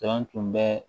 Jɔn tun bɛ